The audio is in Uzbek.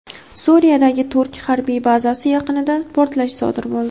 Suriyadagi turk harbiy bazasi yaqinida portlash sodir bo‘ldi.